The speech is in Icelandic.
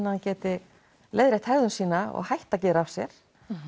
að hann geti leiðrétt hegðun sína og hætt að gera af sér